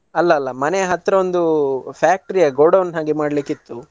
ಅಲ್ಲ ಅಲ್ಲ ಮನೆಯ ಹತ್ತಿರ ಒಂದು factory godown ಹಾಗೆ ಮಾಡ್ಲಿಕ್ಕಿತು.